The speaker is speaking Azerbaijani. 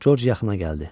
Corc yaxına gəldi.